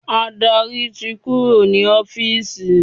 Adarí ti kúrò ní ọ́fìsì.